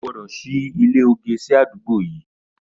Ó gbọdọ ṣi ilé ógé si ádùgbó yi